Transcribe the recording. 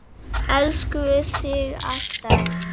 Elskum þig alltaf.